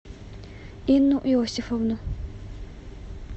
инну иосифовну